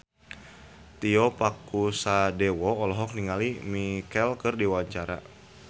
Tio Pakusadewo olohok ningali Lea Michele keur diwawancara